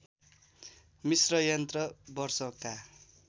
मिस्र यन्त्र वर्षका